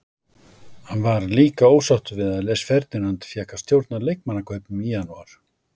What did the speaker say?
Hann var líka ósáttur við að Les Ferdinand fékk að stjórna leikmannakaupum í janúar.